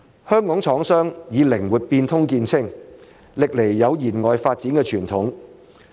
香港廠商以靈活變通見稱，歷來有延外發展的傳統。